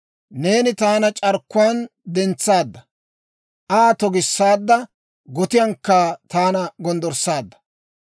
Neeni taana c'arkkuwaan dentsaadda; Aa togissaadda; gotiyankka taana gonddorssaadda.